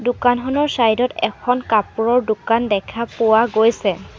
দোকানখনৰ চাইড ত এখন কাপোৰৰ দোকান দেখা পোৱা গৈছে।